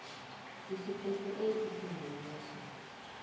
isiqephu a isingeniso